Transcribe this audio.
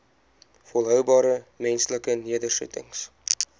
volhoubare menslike nedersettings